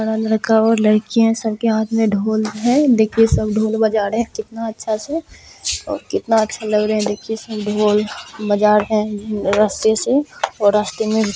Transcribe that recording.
रका हुआ है और लड़किये सबके हाथ में ढोल है देखिये सब ढोल बजा रहे कितना अच्छा से और कितना अच्छा लग रहे देखिये सब ढोल बजा रहे कितना अच्छा से रस्ते में--